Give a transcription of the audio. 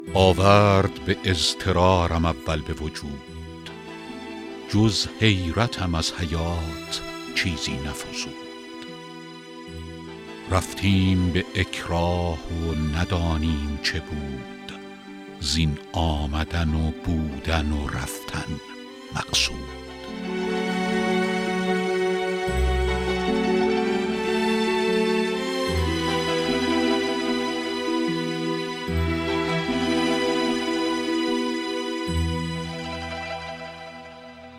آورد به اضطرارم اول به وجود جز حیرتم از حیات چیزی نفزود رفتیم به اکراه و ندانیم چه بود زین آمدن و بودن و رفتن مقصود